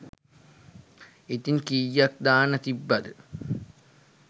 ඉතින් කීයක් දාන්න තිබ්බද.